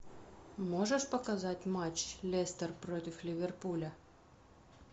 можешь показать матч лестер против ливерпуля